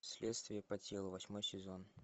следствие по телу восьмой сезон